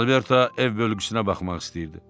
Alberto ev bölgüsünə baxmaq istəyirdi.